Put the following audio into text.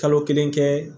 Kalo kelen kɛ